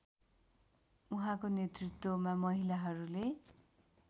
उहाँको नेतृत्वमा महिलाहरूले